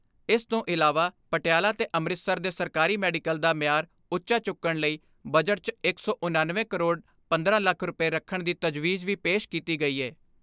ਇਸ ਤੋਂ ਇਲਾਵਾ ਪਟਿਆਲਾ ਤੇ ਅੰਮ੍ਰਿਤਸਰ ਦੇ ਸਰਕਾਰੀ ਮੈਡੀਕਲ ਦਾ ਮਿਆਰ ਉੱਚਾ ਚੁੱਕਣ ਲਈ ਬਜਟ 'ਚ ਇੱਕ ਸੌ ਉਣਨਵੇਂ ਕਰੋੜ ਪੰਦਰਾਂ ਲੱਖ ਰੁਪਏ ਰੱਖਣ ਦੀ ਤਜਵੀਜ਼ ਵੀ ਪੇਸ਼ ਕੀਤੀ ਗਈ ਏ।